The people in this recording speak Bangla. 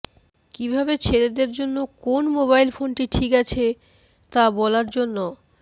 কিভাবে ছেলেদের জন্য কোন মোবাইল ফোনটি ঠিক আছে তা বলার জন্য